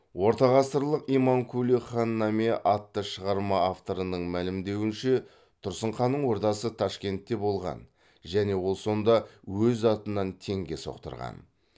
ортағасырлық имамкули хан наме атты шығарма авторының мәлімдеуінше тұрсын ханның ордасы ташкентте болған және ол сонда өз атынан теңге соқтырған